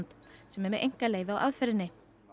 sem er með einkaleyfi á aðferðinni